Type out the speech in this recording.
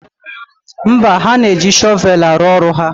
Mba, ha na-eji shọvelụ arụ ọrụ ha.